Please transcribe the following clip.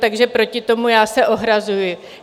Takže proti tomu já se ohrazuji.